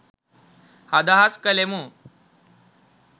අදහස් කළෙමු.